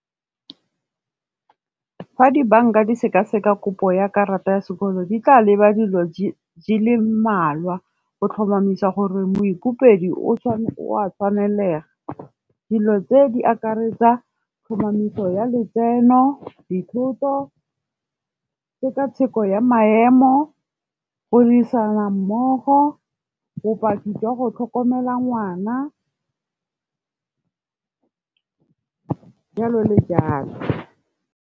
Fa dibanka di sekaseka kopo ya karata ya sekoloto di tla leba dilo di le mmalwa, o tlhomamisa gore moikopedi o a tshwanelega. Dilo tse di akaretsa tlhomamiso ya letseno, dithoto, tsheka-tsheko ya maemo, go dirisana mmogo, bopaki jwa go tlhokomela ngwana, jalo le jalo.